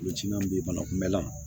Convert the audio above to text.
bɛ yen bana kunbɛlan